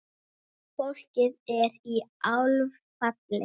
Fólkið er í áfalli.